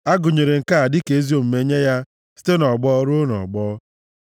A gụnyere nke a dịka ezi omume nye ya site nʼọgbọ ruo nʼọgbọ.